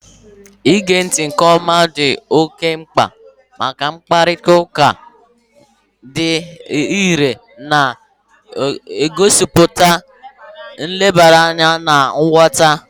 Ige ntị nke ọma dị oke mkpa maka mkparịta ụka dị irè, na-egosipụta nlebara anya na nghọta